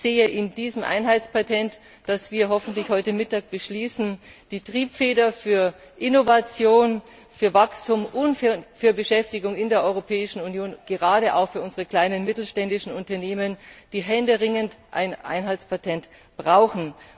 Ich sehe in diesem Einheitspatent, das wir hoffentlich heute Mittag beschließen, die Triebfeder für Innovation, für Wachstum und für Beschäftigung in der Europäischen Union, gerade auch für unsere kleinen und mittelständischen Unternehmen, die händeringend ein Einheitspatent brauchen.